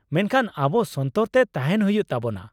ᱢᱮᱱᱠᱷᱟᱱ ᱟᱵᱚ ᱥᱚᱱᱛᱚᱨ ᱛᱮ ᱛᱟᱦᱮᱱ ᱦᱩᱭᱩᱜ ᱛᱟᱵᱚᱱᱟ ᱾